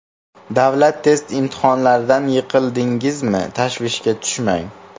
Davlat test imtihonlaridan yiqildingizmi, tashvishga tushmang.